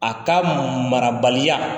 A ka marabaliya.